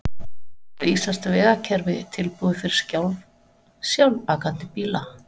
En er íslenskt vegakerfi tilbúið fyrir sjálfakandi bíla?